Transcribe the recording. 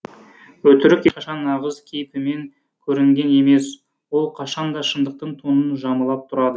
өтірік ешқашан нағыз кейпімен көрінген емес ол қашанда шындықтың тонын жамылып тұрады